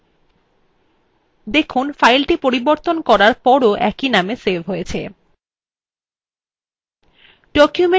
সুতরাং file পরিবর্তন করার পরও একই name সেভ হয়